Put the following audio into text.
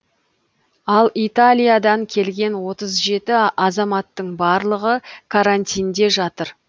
ал италиядан келген отыз жеті азаматтың барлығы карантинде жатыр